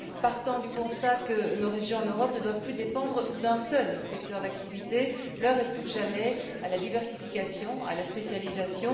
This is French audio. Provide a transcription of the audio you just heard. Partant du constat que nos régions en Europe ne doivent plus dépendre d'un seul secteur d'activité, l'heure est plus que jamais à la diversification, à la spécialisation.